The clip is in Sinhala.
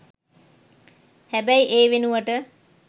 හැබැයි ඒ වෙනුවට